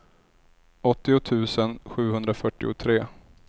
åttio tusen sjuhundrafyrtiotre